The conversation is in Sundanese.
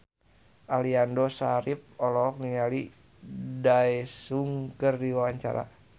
Aliando Syarif olohok ningali Daesung keur diwawancara